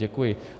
Děkuji.